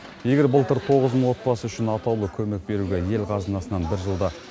егер былтыр тоғыз мың отбасы үшін атаулы көмек беруге ел қазынасынан бір жылда